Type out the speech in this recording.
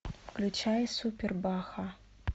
включай супер баха